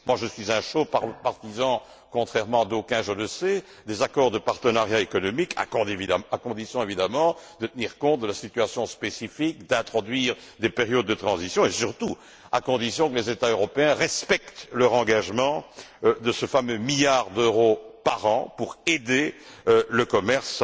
Je suis un chaud partisan contrairement à d'aucuns, je le sais des accords de partenariat économique, à condition évidemment de tenir compte de la situation spécifique, d'introduire des périodes de transition et, surtout, à condition que les États européens respectent leur engagement de ce fameux milliard d'euros par an pour aider le commerce.